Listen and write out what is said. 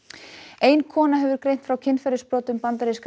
ein kona hefur greint frá kynferðisbrotum bandaríska